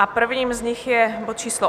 A prvním z nich je bod číslo